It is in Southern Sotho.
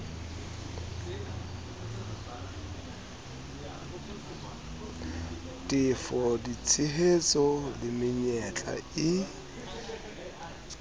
tefo ditshehetso le menyetla e